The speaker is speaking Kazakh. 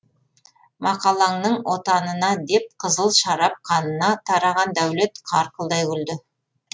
мақалаңның отанына деп қызыл шарап қанына тараған дәулет қарқылдай күлді